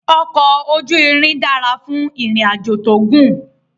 Ọkọ ojú irin dára fún ìrìn àjò tó gùn